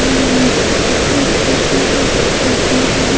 और यहाँ पे एक स्कूटी है जो सफ़ेद रंग की है।